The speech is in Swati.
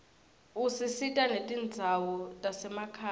usita netindzawo tasemakhaya